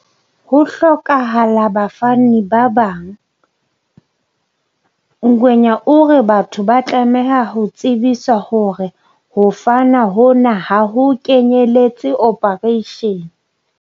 Ho hlokahala bafani ba bangNgwenya o re batho ba tlameha ho tsebiswa hore ho fana hona ha ho kenyeletse ophareishene.